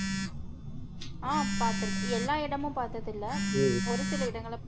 ஹம் பார்த்திருக்கேன் எல்லா இடமும் பாத்தத இல்ல ஒரு சில இடங்கள